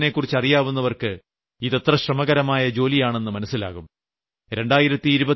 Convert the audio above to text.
രാജസ്ഥാനിലെ മണ്ണിനെക്കുറിച്ച് അറിയാവുന്നവർക്ക് ഇത് എത്ര ശ്രമകരമായ ജോലിയാണെന്ന് മനസ്സിലാകും